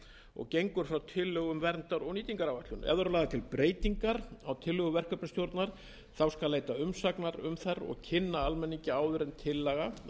og gengur frá tillögum um verndar og nýtingaráætlun ef lagðar eru til breytingar á tillögum verkefnisstjórnar þá skal leita umsagnar um þær og kynna almenningi áður en tillaga að